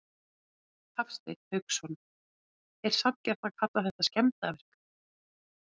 Hafsteinn Hauksson: Er sanngjarnt að kalla þetta skemmdarverk?